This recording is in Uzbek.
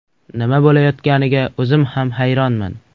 Nima bo‘layotganiga o‘zim ham hayronman.